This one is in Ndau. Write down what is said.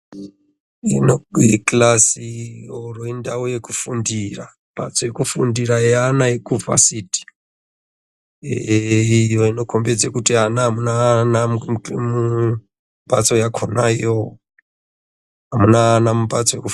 Ino ikilasi iro indau yekufundira mbatso yekufundira yeana yekuvhasit. Ehe iyo inokombidze kuti ana amuna ana mumbatso yakona iyo. Hamuna ana mumbatso yekufu....